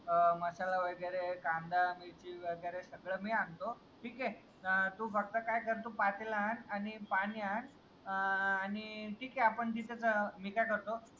आ मसाला वगैरे कांदा मिरची वगैरे सगळं मी आणतो ठीके तू काय कर तू फक्त पातेलंआन आणि पाणी आन आणि थिईके अन आपण तिथे च मी काय करतो